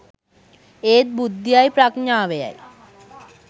ඒත් බුද්ධියයි ප්‍රඥාවයයි